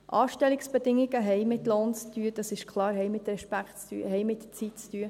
Anstellungsbedingungen haben mit Lohn zu tun, das ist klar, haben mit Respekt zu tun, haben mit Zeit zu tun.